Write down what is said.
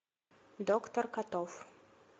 доктор котов